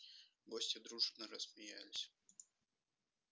гости дружно рассмеялись